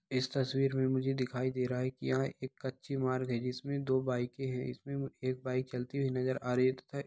इस तस्वीर में मुझे दिखाई दे रहा है की यहाँ एक कच्ची मार्ग है जिसमे दो बाइके है इसमें एक बाइक चलती हुई नज़र आ रही है तथा --